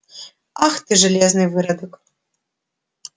ах ты железный выродок